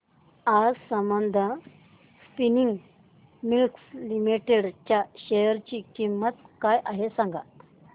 आज Sambandam spinning mills limited च्या share ची किंमत काय आहे हे सांगा